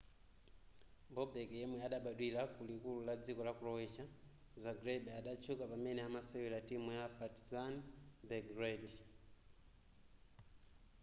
bobek yemwe adabadwira kulikulu la dziko la croatia zagreb adatchuka pamene amasewera timu ya partizan belgrade